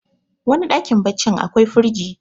wani dakm baccin akwai firji